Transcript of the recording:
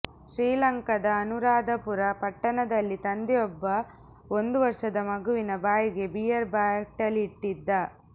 ಶ್ರೀಲಂಕಾದ ಅನುರಾಧಾಪುರ ಪಟ್ಟಣದಲ್ಲಿ ತಂದೆಯೊಬ್ಬ ಒಂದು ವರ್ಷದ ಮಗುವಿನ ಬಾಯಿಗೆ ಬಿಯರ್ ಬಾಟಲಿಯಿಟ್ಟಿದ್ದ